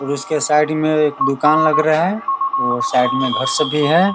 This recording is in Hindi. और उसके साइड में एक दुकान लग रहा है वो साइड में घर सब भी है।